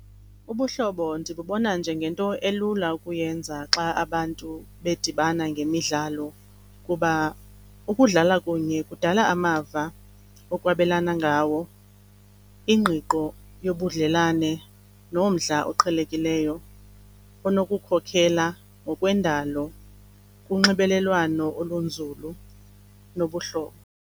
Ubuhlobo ndibubona njengento elula ukuyenza xa abantu bedibana ngemidlalo kuba ukudlala kunye kudala amava okwabelana ngawo, ingqiqo yobudlelwane nomdla oqhelekileyo onokukhokhela ngokwendalo kunxibelelwano olunzulu lobuhlobo.